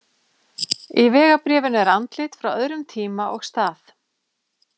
Í vegabréfinu er andlit frá öðrum tíma og stað.